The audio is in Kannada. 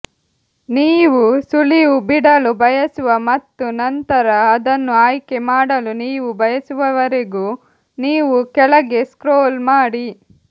ನೀವು ಸುಳಿವು ಬಿಡಲು ಬಯಸುವ ಮತ್ತು ನಂತರ ಅದನ್ನು ಆಯ್ಕೆ ಮಾಡಲು ನೀವು ಬಯಸುವವರೆಗೂ ನೀವು ಕೆಳಗೆ ಸ್ಕ್ರೋಲ್ ಮಾಡಿ